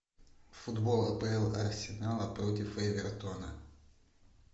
футбол апл арсенала против эвертона